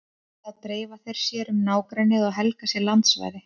Þá dreifa þeir sér um nágrennið og helga sér landsvæði.